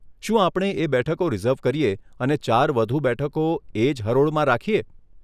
શું આપણે એ બેઠકો રીઝર્વ કરીએ અને ચાર વધુ બેઠકો એજ હરોળમાં રાખીએ?